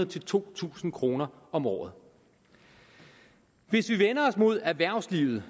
til to tusind kroner om året hvis vi vender os mod erhvervslivet